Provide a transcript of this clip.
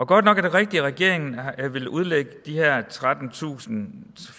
godt nok er det rigtigt at regeringen vil udlægge de her trettentusind